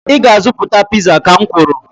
ị ga-azụta piza, ka m kwuru